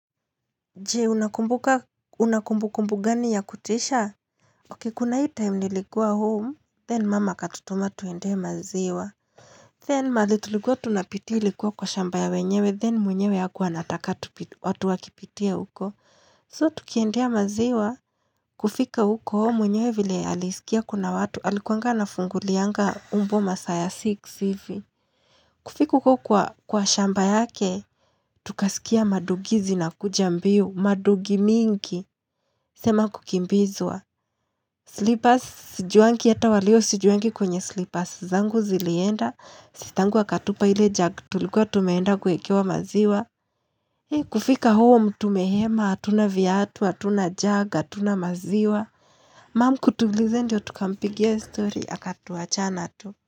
Je, unakumbuka, una kumbukumbu gani ya kutisha? Ok, kuna hii time nilikuwa home, then mama akatutuma tuendee maziwa. Then mahali tulikuwa tunapitia likuwa kwa shamba ya wenyewe, then mwenyewe hakuwa anataka watu wakipitia huko. So, tukiendea maziwa, kufika huko mwenyewe vile alisikia kuna watu, alikuanga ana fungulianga mbwa masaa ya six hivi. Kufika huko kwa shamba yake, tukasikia madogi zina kuja mbio, madogi mingi, sema kukimbizwa Slippers, sijuangi hata wa leo sijuangi kwenye slippers zangu zilienda, sistangu akatupa ile jug tulikuwa tumeenda kuekewa maziwa. Kufika home tumehema, hatuna viatu, hatuna jug, hatuna maziwa. Mum kutuuliza ndio tukampigia story, akatuachana tu.